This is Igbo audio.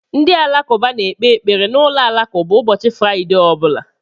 Ndị Alakụba na-ekpe ekpere na ụlọ alakụba ụbọchị Fraịde ọ bụla